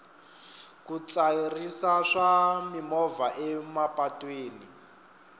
ku tsarisa swa mimovha emapatwini